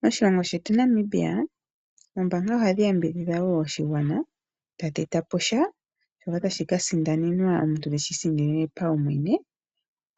Moshilongo shetu Namibia, ombaanga ohadhi yambidhidha wo oshigwana tadhi etapo sha, shoka tashi ka sindanenwa omuntu teshi isindanene paumwene